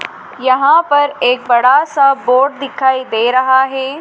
यहां पर एक बड़ा सा बोर्ड दिखाई दे रहा है।